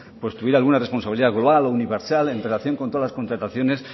tuviera alguna responsabilidad global o universal en relación con todas las contrataciones